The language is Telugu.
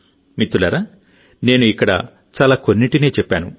మిత్రులారానేను ఇక్కడ చాలా కొన్నింటినే చెప్పాను